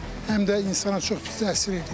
Həm də insana çox pis təsir edir.